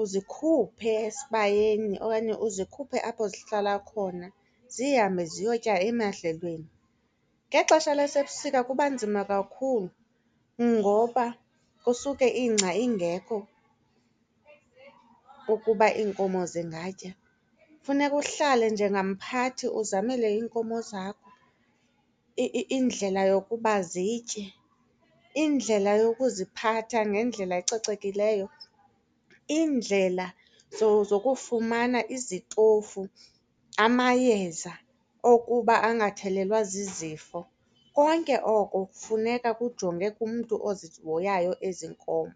Uzikhuphe esibayeni okanye uzikhuphe apho zihlala khona zihambe ziyotya emadlelweni. Ngexesha lasebusika kuba nzima kakhulu ngoba kusuke ingca ingekho ukuba iinkomo zingatya. Funeka uhlale njengamphathi uzamele iinkomo zakho indlela yokuba zitye, indlela yokuziphatha ngendlela ecocekileyo, iindlela zokufumana izitofu, amayeza okuba angathelelwa zizifo. Konke oko kufuneka kujonge kumntu ozihoyayo ezi nkomo.